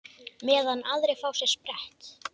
Meðan aðrir fá sér sprett?